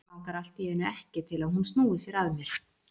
Langar allt í einu ekki til að hún snúi sér að mér.